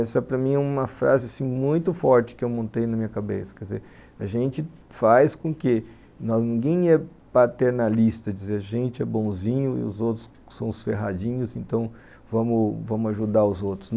Essa para mim é uma frase muito forte que eu montei na minha cabeça, quer dizer, a gente faz com que ninguém é paternalista, dizer a gente é bonzinho e os outros são os ferradinhos, então vamos vamos ajudar os outros.